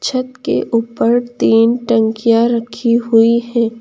छत के ऊपर तीन टंकियां रखी हुई है।